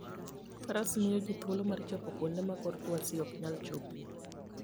Faras miyo ji thuolo mar chopo kuonde ma kor lwasi ok nyal chopoe.